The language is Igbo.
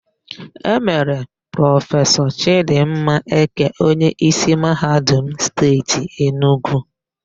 E mere Prọfesọ Chịdịmma Eke onyeísí Mahadum Steeti Enugwu.